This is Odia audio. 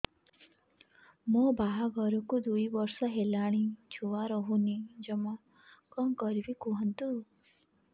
ମୋ ବାହାଘରକୁ ଦୁଇ ବର୍ଷ ହେଲାଣି ଛୁଆ ରହୁନି ଜମା କଣ କରିବୁ କୁହନ୍ତୁ